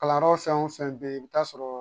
Kalanyɔrɔ fɛn o fɛn bɛ yen i bɛ taa sɔrɔ